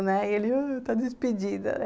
Né, e ele ãh... está despedida, né.